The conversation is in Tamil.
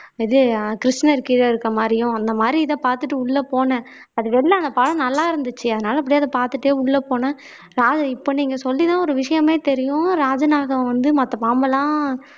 அது கிருஷ்ணருக்கு கீழ இருக்க மாதிரியும் அந்த மாதிரி இத பாத்துட்டு உள்ள போனேன் அது வெளியில அந்த படம் நல்லா இருந்துச்சு அதனால எப்படியாவது பார்த்துட்டு உள்ள போனேன் இப்ப நீங்க சொல்லிதான் ஒரு விஷயமே தெரியும் ராஜநாகம் வந்து மத்த பாம்பெல்லாம்